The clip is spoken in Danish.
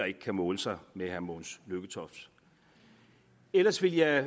ikke kan måle sig med herre mogens lykketofts ellers vil jeg